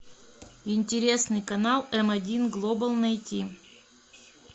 интересный канал м один глобал найти